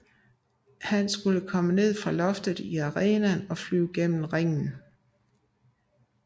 Han skulle komme ned fra loftet i arenaen og flyve ned i ringen